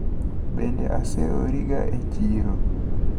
Bende oseoriga e chiro?